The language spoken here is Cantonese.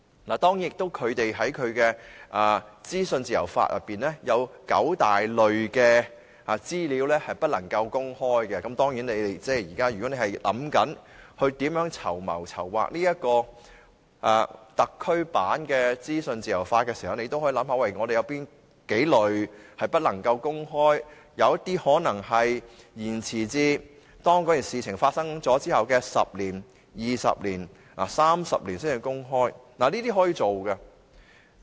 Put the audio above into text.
他們在其資訊自由法裏有九大類別資料不能夠公開，如果你們現正盤算如何籌劃特區版的資訊自由法時，也可以想想我們有哪幾類資料不能夠公開，有些可能延遲至該事情發生後的10年、20年或30年才公開，這是可行的。